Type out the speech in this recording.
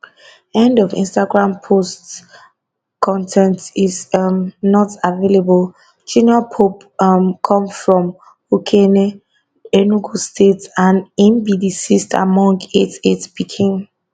end of instagram post con ten t is um not available junior pope um come from ukehe enugu state and im be di sixth among eight eight pikin